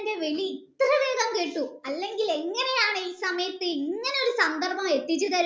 എൻ്റെ വിളി ഇത്ര വേഗം കേട്ടു അല്ലെങ്കിൽ എങ്ങനെയാണ് ഈ സമയത്തു ഇങ്ങനെയൊരു സന്ദർഭം എത്തിച്ചുതരുക